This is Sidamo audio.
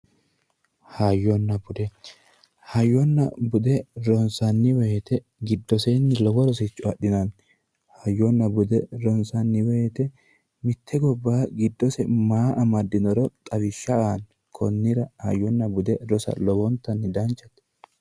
Hayyonna bude, hayyonna bude ronsanni woyte giddosenni lowo rosicho adhinanni ,hayyonna bude ronsanni woyte mitte gobbaha giddose maa amadinoro xawisha aate konnira hayyonna bude rossa lowontanni danchate.